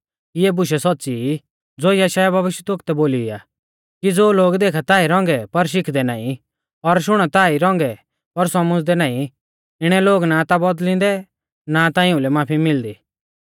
इऐ बूशै सौच़्च़ी ई ज़ो यशायाह भविष्यवक्तै बोली आ कि ज़ो लोग देखा ता ई रौंगै पर शिखदै नाईं और शुणा ता ई रौंगै पर सौमझ़दै नाईं इणै लोग ना ता बौदल़िंदै ना ता इउंलै माफी मिलदी